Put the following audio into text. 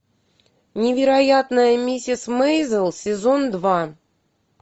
невероятная миссис мейзел сезон два